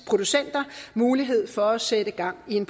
producenter mulighed for at sætte gang i en